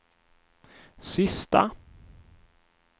sista